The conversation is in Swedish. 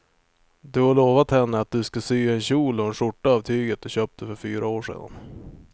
Du har lovat henne att du ska sy en kjol och skjorta av tyget du köpte för fyra år sedan.